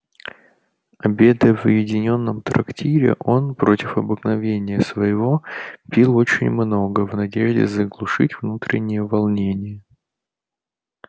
обедая в уединённом трактире он против обыкновения своего пил очень много в надежде заглушить внутреннее волнение